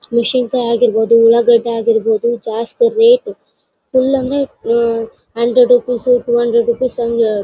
ಮಿಶೀನಿಕಾಯ್ ಆಗಿರಬಹುದು ಉಳ್ಳಾಗಡ್ಡೆ ಆಗಿರಬಹುದು ಜಾಸ್ತಿ ರೇಟ್ ಪುಲ್ಲಂಗಿ uh hundred rupees two hundred rupees ಹಂಗಾ--